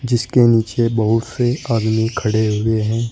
इसके नीचे बहुत से आदमी खड़े हुए हैं।